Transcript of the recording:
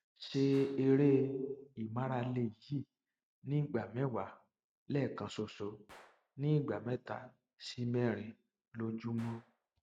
ṣe eré ìmárale yìí ní ìgbà mẹwàá lẹẹkan ṣoṣo ní ìgbà mẹta sí mẹrin lójúmọ